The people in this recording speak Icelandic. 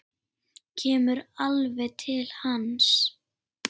Kemur alveg til hans.